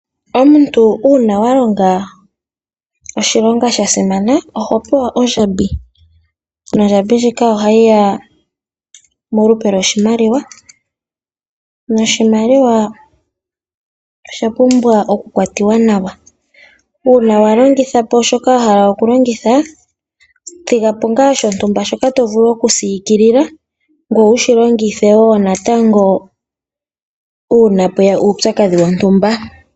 Omuntu uuna wa longa oshilongo shasimana oho pewa ondjambi, nondjambi ndjika ohayi ya molupe lwoshimaliwa, noshimaliwa osha pumbwa oku kwati wa nawa. Uuna walongitha po shoka yahala oku longitha, thiga po ngaa shontumba shoka to vulu oku siikilila ngoye wushi longithe woo natango uuna pweya uutsakadhi wontumba.